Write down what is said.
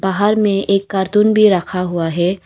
बाहर में एक कार्टून भी रखा हुआ है।